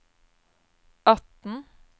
atten